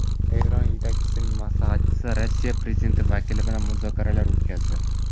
Eron yetakchisining maslahatchisi Rossiya prezidenti vakili bilan muzokaralar o‘tkazdi .